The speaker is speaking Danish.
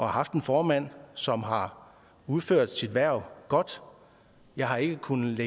haft en formand som har udført sit hverv godt jeg har ikke kunnet